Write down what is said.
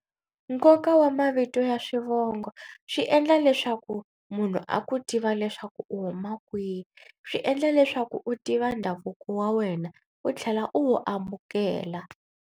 Nkoka wa mavito ya swivongo swi endla leswaku munhu a ku tiva leswaku u huma kwihi. Swi endla leswaku u tiva ndhavuko wa wena u tlhela u wu amukela.